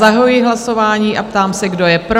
Zahajuji hlasování a ptám se, kdo je pro?